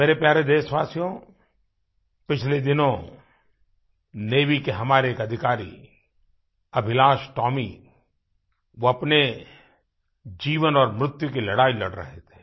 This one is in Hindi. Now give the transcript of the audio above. मेरे प्यारे देशवासियो पिछले दिनों नेवी के हमारे एक अधिकारी अभिलाष टोमी अभिलाष टॉमी वो अपने जीवन और मृत्यु की लड़ाई लड़ रहे थे